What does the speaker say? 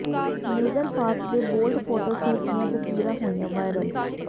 ਮੇਗਨ Fox ਦੇ bold photoshoot ਦੀਆਂ ਤਸਵੀਰਾਂ ਹੋਈਆਂ ਵਾਇਰਲ